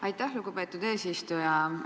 Aitäh, lugupeetud eesistuja!